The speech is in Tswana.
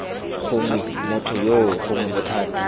gongwe motho yoo gongwe bothati